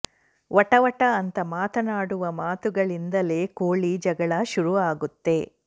ವಟ ವಟ ಅಂತ ಮಾತನಾಡುವ ಮಾತುಗಳಿಂದಲೇ ಕೋಳಿ ಜಗಳ ಶುರು ಆಗುತ್ತೆ